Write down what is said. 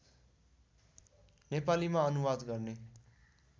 नेपालीमा अनुवाद गर्ने